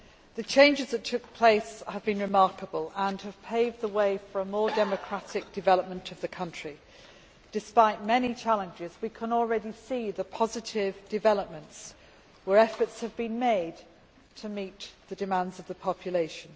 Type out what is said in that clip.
The changes that have taken place have been remarkable and have paved the way for more democratic development of the country. Despite many challenges, we can already see the positive developments in Tunisia, where efforts have been made to meet the demands of the population.